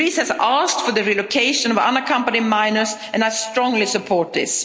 States. Greece has asked for the relocation of unaccompanied minors and I strongly support